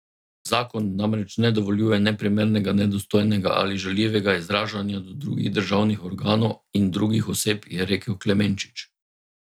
Zakon namreč ne dovoljuje neprimernega, nedostojnega ali žaljivega izražanja do drugih državnih organov in drugih oseb, je rekel Klemenčič.